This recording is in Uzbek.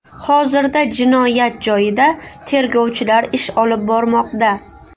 Hozirda jinoyat joyida tergovchilar ish olib bormoqda.